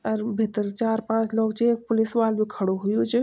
अर भितर चार पांच लोग च एक पुलिस वाल बि खडू हुयु च।